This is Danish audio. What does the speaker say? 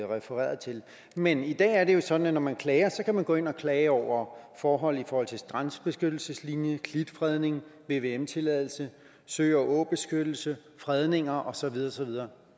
refererede til men i dag er det jo sådan at når man klager kan man gå ind og klage over forhold i forhold til strandbeskyttelseslinje klitfredning vvm tilladelse sø og åbeskyttelse fredninger og så videre og så videre